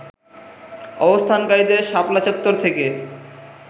অবস্থানকারীদের শাপলা চত্বর থেকে